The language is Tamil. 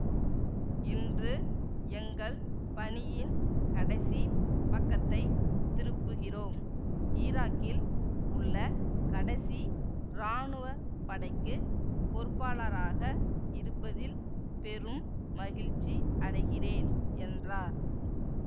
இன்று எங்கள் பணியின் கடைசி பக்கத்தை திருப்புகிறோம் ஈராக்கில் உள்ள கடைசி ராணுவ படைக்கு பொறுப்பாளராக இருப்பதில் பெரும் மகிழ்ச்சி அடைகிறேன் என்றார்